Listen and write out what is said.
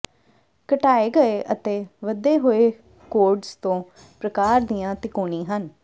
ਘਟਾਏ ਗਏ ਅਤੇ ਵਧੇ ਹੋਏ ਕੋਰਡਜ਼ ਦੋ ਪ੍ਰਕਾਰ ਦੀਆਂ ਤਿਕੋਣੀ ਹਨ